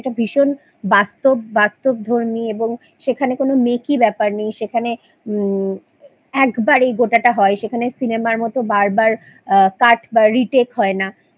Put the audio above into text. সেটা ভীষণ বাস্তব বাস্তবধর্মী এবং সেখানে কোনো মেকি ব্যাপার নেই সেখানে উম্ম একবারেই গোটাটা হয় সেখানে Cinema র মতো বারবার আ Cut বা Retake হয় না